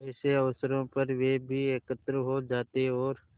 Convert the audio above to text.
ऐसे अवसरों पर वे भी एकत्र हो जाते और